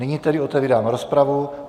Nyní tedy otevírám rozpravu.